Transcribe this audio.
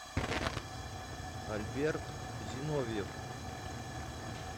альберт зиновьев